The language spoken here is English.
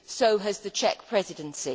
so has the Czech Presidency.